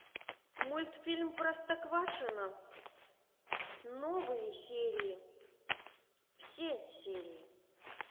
мультфильм простоквашино новые серии все серии